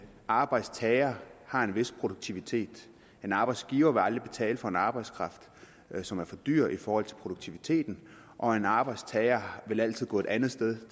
arbejdstager har en vis produktivitet en arbejdsgiver vil aldrig betale for en arbejdskraft som er for dyr i forhold til produktiviteten og en arbejdstager vil altid gå et andet sted